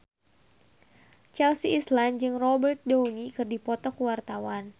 Chelsea Islan jeung Robert Downey keur dipoto ku wartawan